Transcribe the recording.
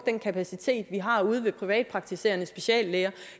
den kapacitet vi har ude ved de privatpraktiserende speciallæger